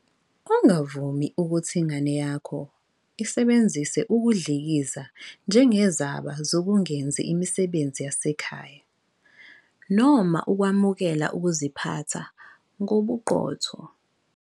Ungavumi ukuthi ingane yakho isebenzise ukudlikiza njengezaba zokungenzi imisebenzi yasekhaya noma ukwamukela ukuziphatha ngobuqotho.